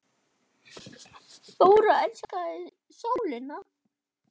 Þóra elskaði sólina.